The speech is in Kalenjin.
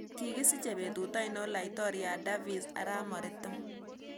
Kigisiche betut ainon laitoriat davis arap maritim